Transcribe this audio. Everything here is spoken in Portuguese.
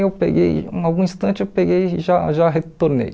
Eu peguei, em algum instante eu peguei e já já retornei.